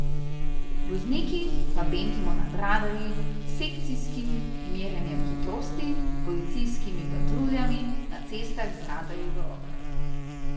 Vozniki pa bentimo nad radarji, sekcijskim merjenjem hitrosti, policijskimi patruljami na cestah z radarji v rokah.